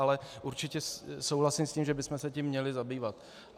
Ale určitě souhlasím s tím, že bychom se tím měli zabývat.